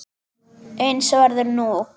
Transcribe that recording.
Eins verður nú.